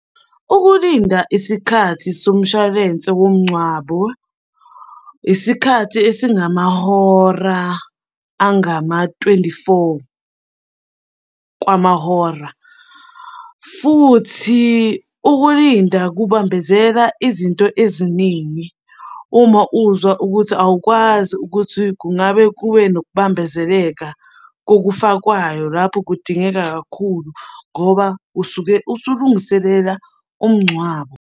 Ukulinda isikhathi somshwalense womngcwabo, isikhathi esingamahora angama-twenty-four kwamahora, futhi ukulinda kubambezela izinto eziningi. Uma uzwa ukuthi awukwazi ukuthi kungabe kube nokubambezeleka kokufakwayo lapho kudingeka kakhulu ngoba usuke usulungiselela umngcwabo.